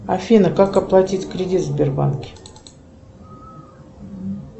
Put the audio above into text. афина как оплатить кредит в сбербанке